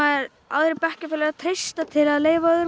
aðrir bekkjarfélagar treysta til að leyfa öðrum